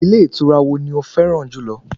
Ilé ìtura wo ni o fẹ́ràn jùlọ?